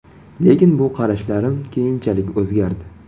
Lekin bu qarashlarim keyinchalik o‘zgardi.